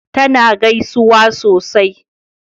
ta na gaisuwa sosai